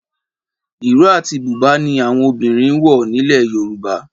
Ìró àti Bùbá ni àwọn obìnrin ń wọ̀ nílẹ̀ Yorùbá